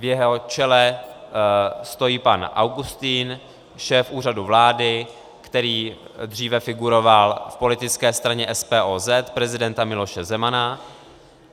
V jeho čele stojí pan Augustin, šéf Úřadu vlády, který dříve figuroval v politické straně SPOZ prezidenta Miloše Zemana.